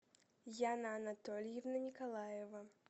яна анатольевна николаева